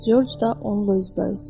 Corc da onunla üzbəüz.